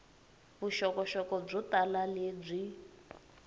vuxokoxoko byo tala lebyi